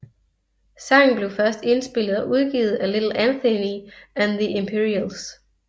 Sangen blev først indspillet og udgivet af Little Anthony and the Imperials